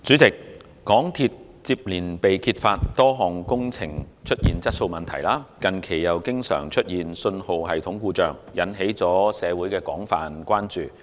主席，香港鐵路有限公司接連被揭發多項工程出現質素問題，近期又經常出現信號系統故障，引起社會廣泛關注。